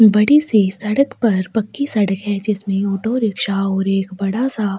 बड़ी सी सड़क पर पक्की सड़क है जिसमे ऑटो रिकशा और एक बड़ा सा --